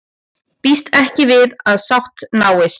Býst ekki við að sátt náist